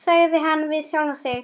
sagði hann við sjálfan sig.